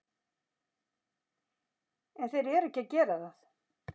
En þeir eru ekki að gera það.